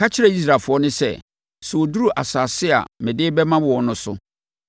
“Ka kyerɛ Israelfoɔ no sɛ, sɛ wɔduru asase a mede rebɛma wɔn no so